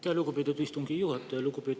Aitäh, lugupeetud istungi juhataja!